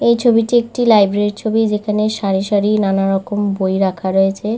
এই ছবিটি একটি লাইব্রেরীর ছবি যেখানে সারি সারি নানারকম বই রাখা রয়েছে।